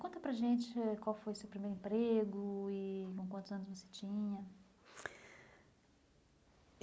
Conta para a gente qual foi seu primeiro emprego e com quantos anos você tinha?